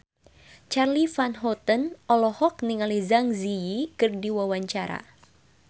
Charly Van Houten olohok ningali Zang Zi Yi keur diwawancara